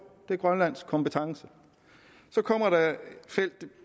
det er grønlands kompetence så kommer der et felt